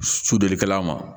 Sudulikɛla ma